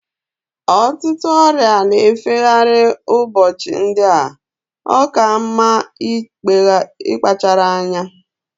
Ọtụtụ ọrịa na-efe gharị ụbọchị ndị a. Ọ ka mma ịkpachara anya